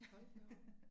Hold da op